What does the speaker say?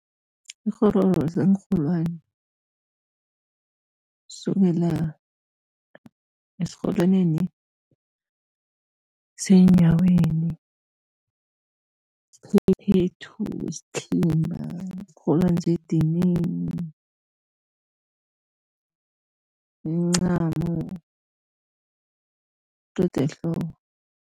Ikghororo ziinrholwani, sukela esirholwaneni seenyaweni, iphephethu, isithimba, iinrholwani zedinini, imincamo todi ehloko.